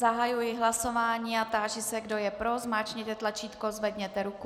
Zahajuji hlasování a táži se, kdo je pro, zmáčkněte tlačítko, zvedněte ruku.